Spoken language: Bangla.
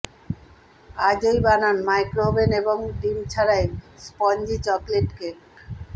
আজই বানান মাইক্রোওভেন এবং ডিম ছাড়াই স্পঞ্জি চকোলেট কেক